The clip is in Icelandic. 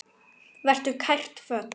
Vertu kært kvödd.